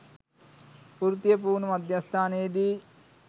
වෘත්තීය පුහුණු මධ්‍යස්ථානයේදී